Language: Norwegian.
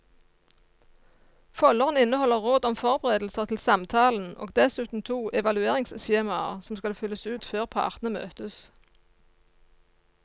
Folderen inneholder råd om forberedelser til samtalen og dessuten to evalueringsskjemaer som skal fylles ut før partene møtes.